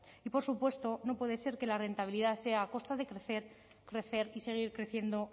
y por supuesto no puede ser que la rentabilidad sea a costa de crecer crecer y seguir creciendo